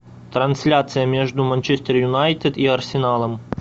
трансляция между манчестер юнайтед и арсеналом